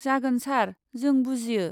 जागोन सार, जों बुजियो।